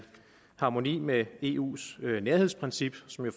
harmoni med eus nærhedsprincip som jo